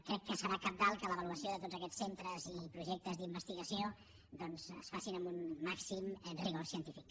crec que serà cabdal que l’avaluació de tots aquests centres i projectes d’investigació doncs es faci amb un màxim rigor científic